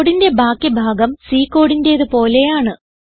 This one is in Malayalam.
കോഡിന്റെ ബാക്കി ഭാഗം C കോഡിന്റെത് പോലെയാണ്